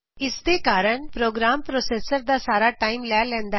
ਇਸਦੇ ਕਾਰਨ program processor ਦਾ ਸਾਰਾ ਟਾਇਮ ਲੈ ਲੈਂਦਾ ਹੈ